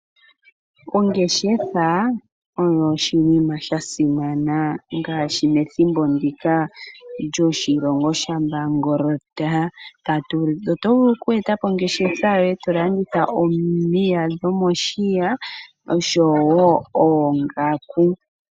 Ongeshefa oyo oshinima shasimana, ngaashi methimbo ndika lyoshilongo sha mbangolota. Oto vulu oku etapo ongeshefa yoye tolanditha omiya dhomoshiya, noshowo oongaku.